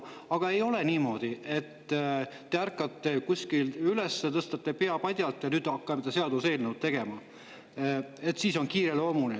Aga ei ole niimoodi, et te ärkate kuskil üles, tõstate pea padjalt ja hakkate seda seaduseelnõu tegema, sest see on kiireloomuline.